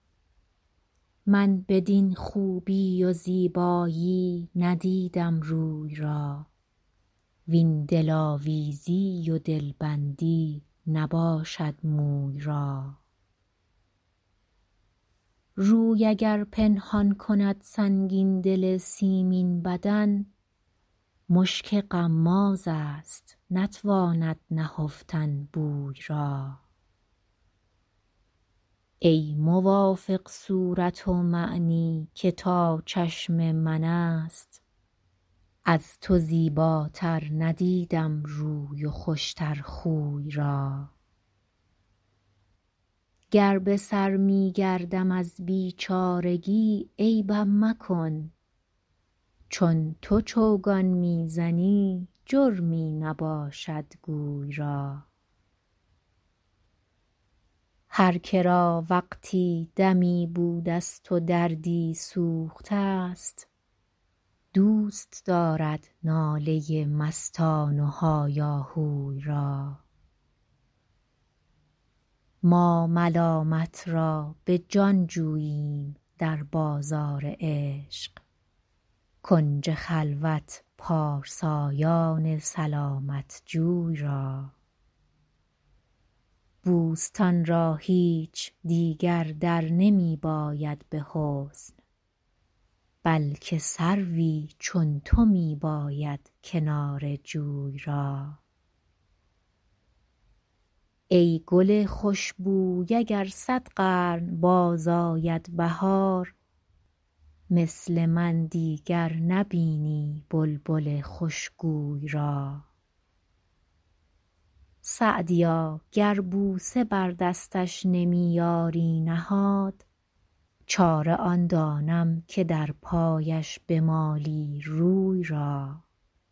من بدین خوبی و زیبایی ندیدم روی را وین دلآویزی و دلبندی نباشد موی را روی اگر پنهان کند سنگین دل سیمین بدن مشک غمازست نتواند نهفتن بوی را ای موافق صورت ومعنی که تا چشم من است از تو زیباتر ندیدم روی و خوش تر خوی را گر به سر می گردم از بیچارگی عیبم مکن چون تو چوگان می زنی جرمی نباشد گوی را هر که را وقتی دمی بودست و دردی سوخته ست دوست دارد ناله مستان و هایاهوی را ما ملامت را به جان جوییم در بازار عشق کنج خلوت پارسایان سلامت جوی را بوستان را هیچ دیگر در نمی باید به حسن بلکه سروی چون تو می باید کنار جوی را ای گل خوش بوی اگر صد قرن باز آید بهار مثل من دیگر نبینی بلبل خوش گوی را سعدیا گر بوسه بر دستش نمی یاری نهاد چاره آن دانم که در پایش بمالی روی را